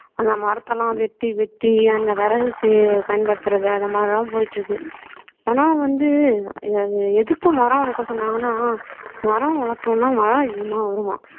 அந்த மரத்த எல்லாம் வெட்டி வெட்டி அந்த விறகுக்கு பயன்படுத்துறது அந்த மாதிரி எல்லாம் போயிட்டு இருக்கு ஆனா வந்து எதுக்கும் மரம் வளர்க்க சொன்னாங்கன்னா மரம் வளர்த்தோம்ன்னா மழை அதிகமா வருமாம்